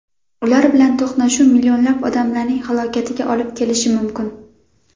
Ular bilan to‘qnashuv millionlab odamlarning halokatiga olib kelishi mumkin.